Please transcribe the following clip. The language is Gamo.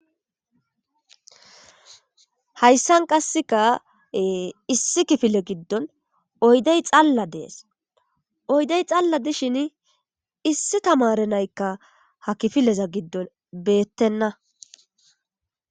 Haysan kaseka issi kefile gidon oyde xala de'es oyde xala de'ishini issi tamaare na'ayka ha kifileza gidon beetena.